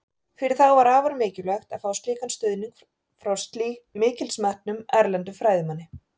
Fyrir þá var afar mikilvægt að fá slíkan stuðning frá mikils metnum, erlendum fræðimanni.